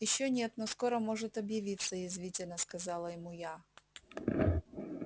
ещё нет но скоро может объявиться язвительно сказала ему я